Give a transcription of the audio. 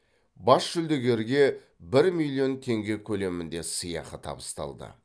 бас жүлдегерге бір миллион теңге көлемінде сыйақы табысталды